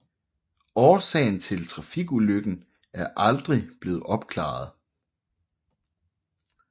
Årsagen til trafikulykken er aldrig blevet opklaret